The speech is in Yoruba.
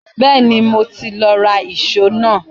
Bẹ́ẹ̀ni, mo ti lọ ra ìṣó náà